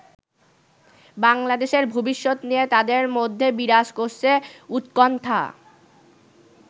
বাংলাদেশের ভবিষ্যত নিয়ে তাদের মধ্যে বিরাজ করছে উৎকণ্ঠা।